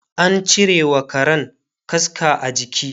an cirewa Karan kaska a jiki